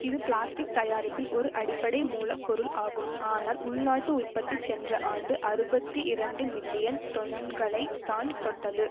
இது பிளாஸ்டிக் தயாரிப்பில் ஒரு அடிப்படை மூல பொருள் ஆகும் ஆனால் உள்நாட்டு உற்பத்தி சென்ற ஆண்டு அறுபத்தி இரண்டு மில்லியன் தொன்களைத் தான் தொட்டது